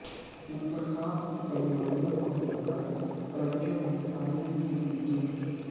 انتخاب کی تیاریوں کولیکر رنجو گیتا نے کی میٹنگ